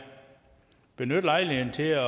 benytte lejligheden til at